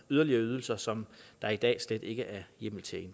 yderligere ydelser som der er i dag slet ikke er hjemmel til at